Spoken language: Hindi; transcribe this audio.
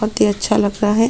बहुत ही अच्छा लग रहा है।